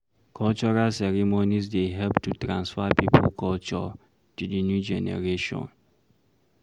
Cultural ceremonies dey help to transfer pipo culture to di new generation